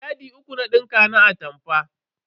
Yadi uku na dinka na atamfar.